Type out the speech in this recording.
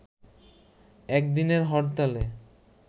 একদিনের হরতালে